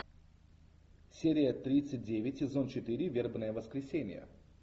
серия тридцать девять сезон четыре вербное воскресенье